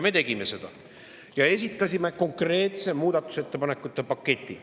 Me tegime seda ja esitasime konkreetse muudatusettepanekute paketi.